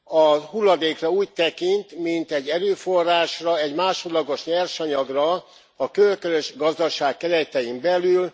A hulladékra úgy tekint, mint egy erőforrásra, egy másodlagos nyersanyagra a körkörös gazdaság keretein belül.